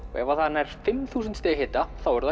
og ef það nær fimm þúsund stiga hita þá er það